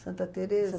Santa Teresa.